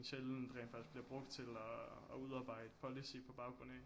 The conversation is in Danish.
Sjældent rent faktisk bliver brugt til at at udarbejde policy på baggrund af